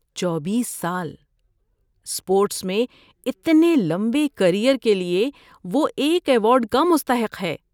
چوبیس سال۔۔ اسپورٹس میں اتنے لمبے کریئر کے لیے وہ ایک ایوارڈ کا مستحق ہے۔